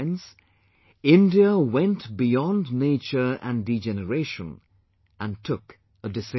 But friends, India went beyond nature and degeneration and took a decision